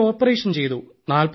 അവിടെ ഓപ്പറേഷൻ ചെയ്തു